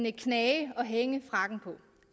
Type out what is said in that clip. en knage at hænge frakken på